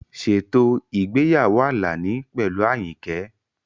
Ṣètò ìgbéyàwó Alani pẹ̀lú Ayinke.